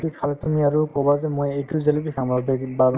জেলেপী খালে তুমি আৰু কবা যে মই এইটো জেলেপী খাম আৰু